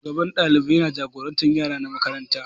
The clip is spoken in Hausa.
Shugaban ɗalibai yana jagorantar yaran makaranta.